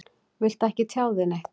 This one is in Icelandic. Viltu ekki tjá þig neitt?